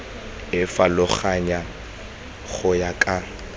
e farologane go ya ka